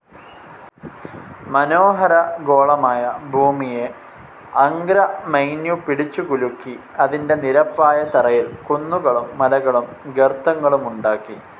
മനോഹര ഗോളമായ ഭൂമിയെ അംഗ്രാമൈന്യു പിടിച്ചു കുലുക്കി അതിന്റെ നിരപ്പായ തറയിൽ കുന്നുകളും മലകളും ഗർത്തങ്ങളുമുണ്ടാക്കി.